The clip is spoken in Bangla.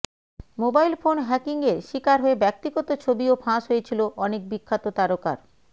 মোবাইল ফোন হ্যাকিংয়ের শিকার হয়ে ব্যক্তিগত ছবিও ফাঁস হয়েছিল অনেক বিখ্যাত তারকার